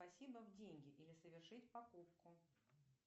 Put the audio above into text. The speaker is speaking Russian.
спасибо в деньги или совершить покупку